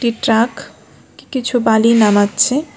একটি ট্রাক কি-কিছু বালি নামাচ্ছে।